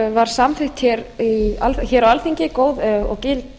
var samþykkt hér á alþingi góð og gild